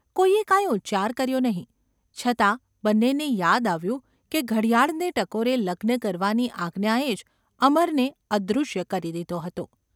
કોઈએ કાંઈ ઉચ્ચાર કર્યો નહિ, છતાં બંને ને યાદ આવ્યું કે ઘડિયાળને ટકોરે લગ્ન કરવાની આજ્ઞાએ જ અમરને અદૃશ્ય કરી દીધો હતો.